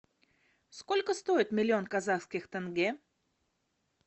сколько стоит миллион казахских тенге